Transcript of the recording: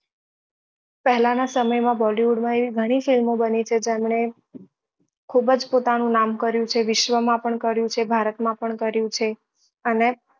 પહેલા ના સમય માં bollywood માં એવી ગણી film ઓ બની છે જેમને ખુબ જ પોતાનું નામ કર્યું છે વિશ્વ માં પણ કર્યું છે ભારત માં પણ કર્યું છે અને